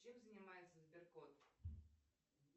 чем занимается сбер кот